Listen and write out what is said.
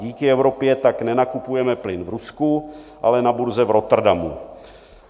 Díky Evropě tak nenakupujeme plyn v Rusku, ale na burze v Rotterdamu.